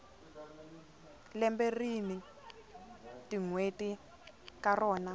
lembe rini tinwheti ka rona